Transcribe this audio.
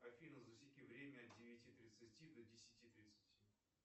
афина засеки время от девяти тридцати до десяти тридцати